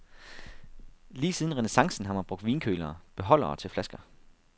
Lige siden renæssancen har man brugt vinkølere, beholdere til flasker.